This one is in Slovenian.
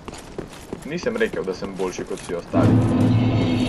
Nisem rekel, da sem boljši kot vsi ostali.